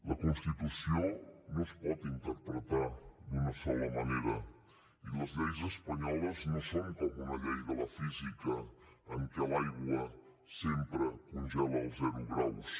la constitució no es pot interpretar d’una sola manera i les lleis espanyoles no són com una llei de la física en què l’aigua sempre congela als zero graus